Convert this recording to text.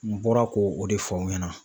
N bɔra k'o o de fɔ aw ɲɛna